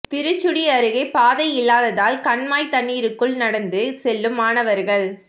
திருச்சுழி அருகே பாதை இல்லாததால் கண்மாய் தண்ணீருக்குள் நடந்து செல்லும் மாணவா்கள்